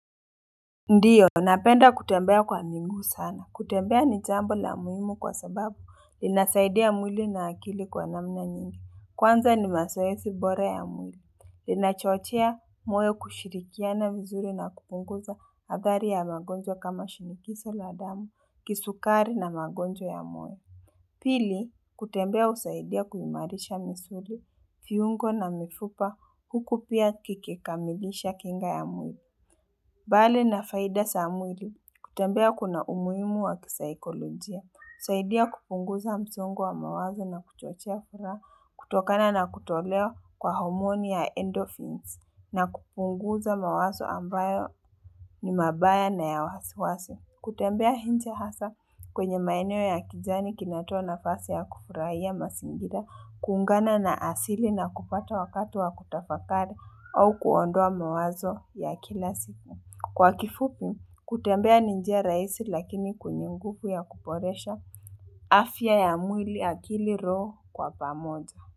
Ndiyo, napenda kutembea kwa miguu sana. Kutembea ni jambo la muhimu kwa sababu, linasaidia mwili na akili kwa namna nyingi. Kwanza ni mazoezi bora ya mwili. Linachochea moyo kushirikiana vizuri na kupunguza athari ya magonjwa kama shinikizo la damu, kisukari na magonjwa ya moyo. Pili, kutembea husaidia kuimarisha misuli, viungo na mifupa, huku pia kikikamilisha kinga ya mwili. Mbali na faida za mwili kutembea kuna umuhimu wa kisaikolojia. Husaidia kupunguza msongo wa mawazo na kuchochea furaha kutokana na kutolewa kwa homoni ya endorphins na kupunguza mawazo ambayo ni mabaya na ya wasiwasi. Kutembea nje hasa kwenye maeneo ya kijani kinatoa nafasi ya kufurahia mazingira, kuungana na asili na kupata wakati wa kutafakari au kuondoa mawazo ya kila siku. Kwa kifupi, kutembea ni njia rahisi lakini kwenye nguvu ya kuboresha afya ya mwili akili roho kwa pamoja.